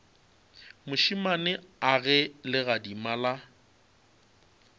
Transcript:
mošemane a ge legadima la